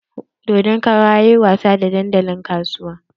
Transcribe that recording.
Dodon kara yayi wasa a dandalin kasuwa.